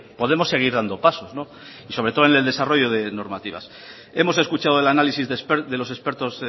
podemos seguir dando pasos y sobre todo en el desarrollo de normativas hemos escuchado el análisis de los expertos